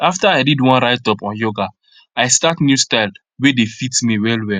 after i read one writeup on yoga i start new style wey dey fit me well well